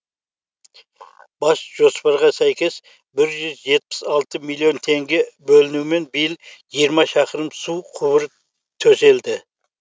бас жоспарға сәйкес бір жүз жетпіс алты миллион теңге бөлінуімен биыл жиырма шақырым су құбыры төселді